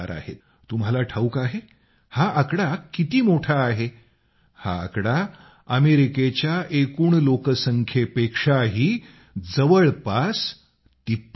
तुम्हाला ठावूक आहे हा आकडा किती मोठा आहे हा आकडा अमेरिकेच्या एकूण लोकसंख्येपेक्षाही जवळपास तिप्पट आहे